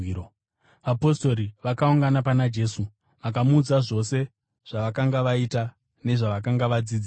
Vapostori vakaungana pana Jesu vakamuudza zvose zvavakanga vaita nezvavakanga vadzidzisa.